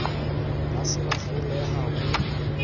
ba se ba hloleha ho